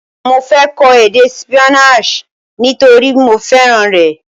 Mọ fẹ́ kọ èdè Spanish nítorípé mọ fẹ́ràn rẹ̀.